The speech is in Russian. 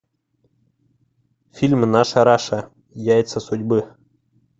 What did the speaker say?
фильм наша раша яйца судьбы